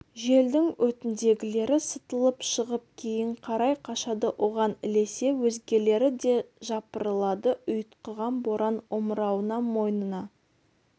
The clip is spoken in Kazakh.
желдің өтіндегілері сытылып шығып кейін қарай қашады оған ілесе өзгелері де жапырылады ұйтқыған боран омырауына мойнына